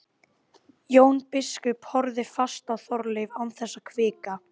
Jón biskup horfði fast á Þorleif án þess að hvika.